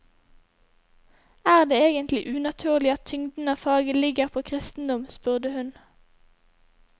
Er det egentlig unaturlig at tyngden av faget ligger på kristendom, spurte hun.